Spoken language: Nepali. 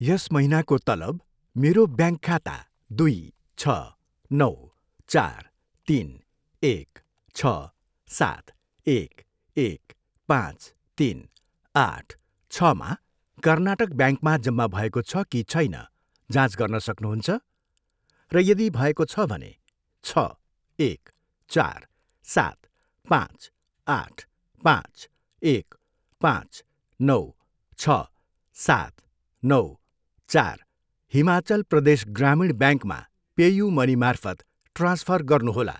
यस महिनाको तलब मेरो ब्याङ्क खाता दुई छ, नौ, चार, तिन, एक, छ, सात, एक, एक, पाँच, तिन, आठ, छमा कर्नाटक ब्याङ्क मा जम्मा भएको छ कि छैन, जाँच गर्न सक्नुहुन्छ? र यदि भएको छ भने, छ एक, चार, सात, पाँच, आठ, पाँच, एक, पाँच, नौ, छ, सात, नौ, चार हिमाचल प्रदेश ग्रामीण ब्याङ्कमा पेयु मनीमार्फत ट्रान्सफर गर्नुहोला।